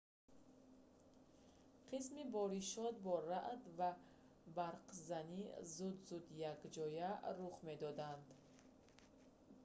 қисми боришот бо раъд ​​ва барқзани ​​зуд-зуд якҷоя рух медоданд